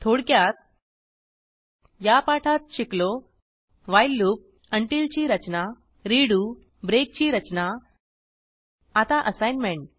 थोडक्यात या पाठात शिकलो व्हाईल लूप उंटील ची रचना रेडो ब्रेक ची रचना आता असाईनमेंट